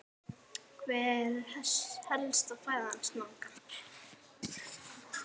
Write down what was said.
Hver er helsta fæða snáka?